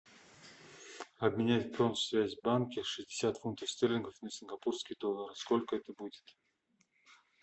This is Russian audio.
обменять в промсвязьбанке шестьдесят фунтов стерлингов на сингапурские доллары сколько это будет